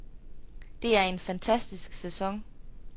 Det er en fantastisk sæson.